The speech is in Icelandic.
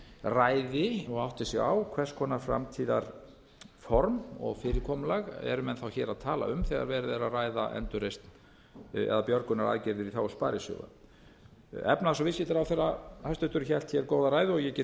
ræði hvers konar framtíðarform og fyrirkomulag eru menn hér að tala um þegar verið er að ræða endurreisn eða björgunaraðgerðir í þágu sparisjóða efnahags og viðskiptaráðherra hæstvirtur hélt hér góða ræðu ég get